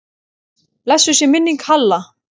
Blessuð sé minning Halla.